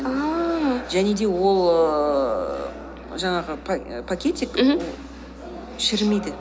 ааа және де ол ііі жаңағы пакетик мхм шірімейді